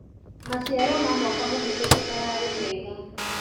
Maciaro ma mwaka mũhetũku mararĩ mega.